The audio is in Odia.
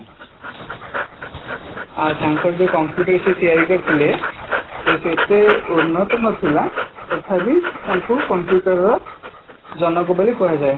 ଆଉ ତାଙ୍କର ଯୋଉ computer ସିଏ ତିଆରି କରିଥିଲେ ସେତେ ଉର୍ନତ ନଥିଲା ତଥାପି ତାଙ୍କୁ computer ର ଜନକ ବୋଲି କୁହାଯାଏ